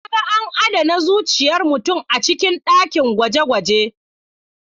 Na ga an adana zuciyar mutum a cikin dakin gwaje-gwaje.